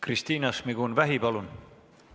Kristina Šmigun-Vähi, palun!